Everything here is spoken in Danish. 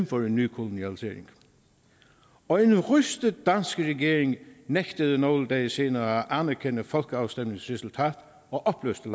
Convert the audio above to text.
for en ny kolonialisering og en rystet dansk regering nægtede nogle dage senere at anerkende folkeafstemningens resultat og opløste